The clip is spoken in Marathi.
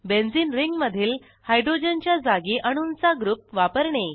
बेंझिन रिंगमधील हायड्रोजनच्या जागी अणूंचा ग्रुप वापरणे